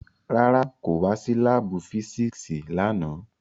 Rárá, ko wa si laabu fisiksi làná